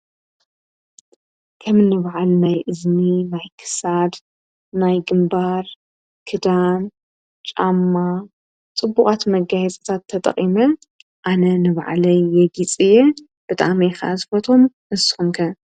ከም ንብዓል ናይ እዝኒ ማይክሳድ ናይ ግምባር ክዳም ጫማ ጽቡቓት መጋይጽታት ተጠቒመ ኣነ ንብዕለይ የጊጽየ በጣ መኻ ዝፈቶም ንስንከ።